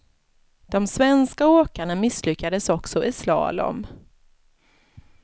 De svenska åkarna misslyckades också i slalom.